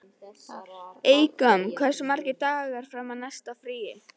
Eykam, hversu margir dagar fram að næsta fríi?